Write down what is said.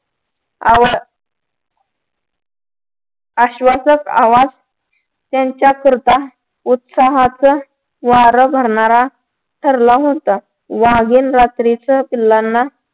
आवा आश्वासक आवाज त्यांच्याकरता उत्साहाचा वार धरणारा ठरला होता वाघीण रात्रीच पिल्लाना